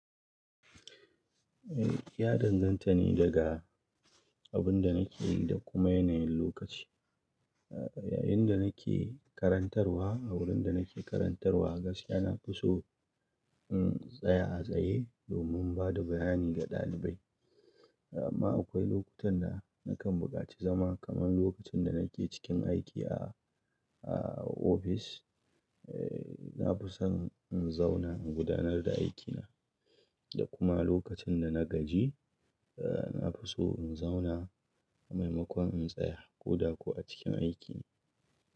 Eh, ya danganta ne daga abin da nake yi da kuma yanayin lokaci. A yayin da nake karantarwa, a wurin da nake karantarwa gaskiya na fi son um, in tsaya a tsaye domin ba da bayani ga ɗalibai. Amma akwai lokutan da nakan buƙaci zama kamar lokacin da nake cikin aiki a, a ofis. Eh, na fi son in zauna in gudanar da aikina. Da kuma lokacin da na gaji, eh, na fi so in zauna a maimakon in tsaya ko da kuwa cikin aiki.